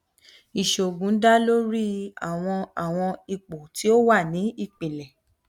iṣoogun da lori awọn awọn ipo ti o wa ni ipilẹ